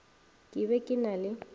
ke be ke na le